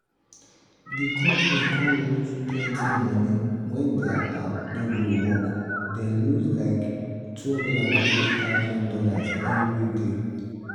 the company con lose plenty money when their app no gree work dem lose like two hundred and fifty thousand dollars every day.